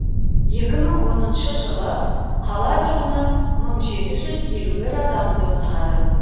екі мың оныншы жылы қала тұрғыны мың жеті жүз елу бір адамды құрады